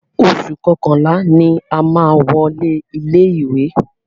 Oṣù kọkànlá ni a máa wọlé ilé ìwé.